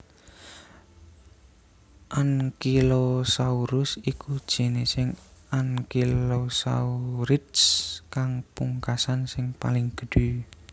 Ankylosaurus iku jinising ankylosaurids kang pungkasan sing paling gedhé